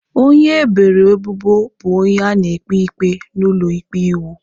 Onye eboro ebubo bụ onye a na-ekpe ikpe n’ụlọ ikpe iwu.